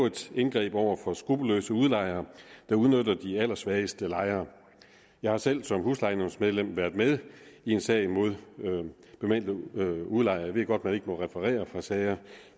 et indgreb over for skruppelløse udlejere der udnytter de allersvageste lejere jeg har selv som huslejenævnsmedlem været med i en sag mod bemeldte udlejer jeg ved godt at man ikke må referere fra sager